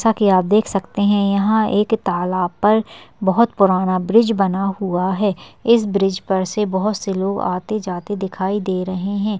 जैसा की आप देख सकते हैं यहाँ एक तालाब पर बहुत पुराना ब्रिज बना हुआ है इस ब्रिज पर से बहुत से लोग आते-जाते दिखाई दे रहे हैं।